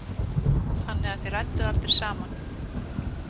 Þannig að þið rædduð aldrei saman?